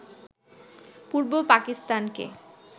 পূর্ব পাকিস্তানকে